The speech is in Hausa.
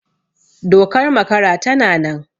Dokar makara tana nan